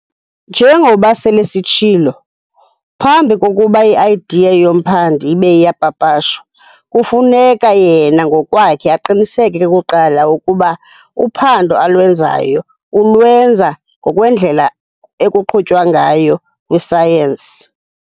Njengoba sele sitshilo, phambi kokuba i-idea yomphandi ibe iyapapashwa, kufuneka yena ngokwakhe aqiniseke kuqala ukuba uphando alwenzayo ulwenza ngokwendlela ekuqhutywa ngayo "kwi-science".